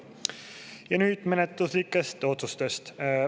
Ja nüüd menetluslikest otsustest.